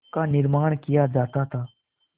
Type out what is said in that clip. का निर्माण किया जाता था